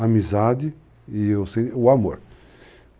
Amizade e o amor.